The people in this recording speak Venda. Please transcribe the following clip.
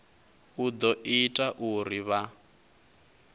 u ḓo ita uri vha